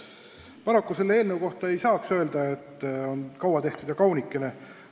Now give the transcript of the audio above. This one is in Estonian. Paraku selle eelnõu kohta ei saa öelda, et kaua tehtud kaunikene.